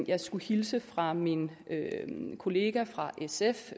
jeg skulle hilse fra min kollega fra sf